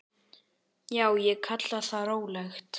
Já, ég kalla það rólegt.